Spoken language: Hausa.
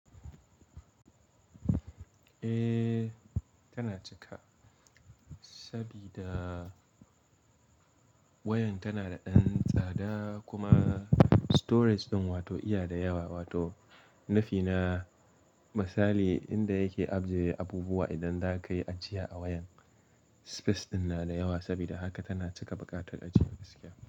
Eh, tana cika sabida wayan tana da ɗan tsada kuma storage ɗin wato iya da yawa wato nafina misali inda yake aje abubuwa idan za ka yi ajiya a wayan space ɗin na da yawa sabida haka tana cika buƙatar ajiyar gaskiya.